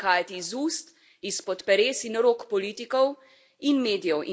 Prihajati iz ust, izpod peres in rok politikov in medijev.